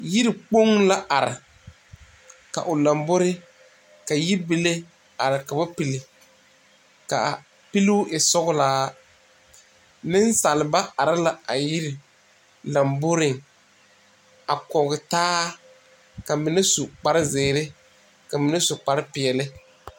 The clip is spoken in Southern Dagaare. Yikpoŋ la are ka o lambori ka yibile a are ka ba pilli k,a pilluu e sɔglaa nensaalba are la a yiri lamboriŋ a kɔge taa ka mine su kparezeere ka mine su kparepeɛle.